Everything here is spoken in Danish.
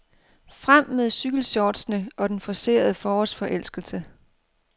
Frem med cykelshortsene og den forcerede forårsforelskelse.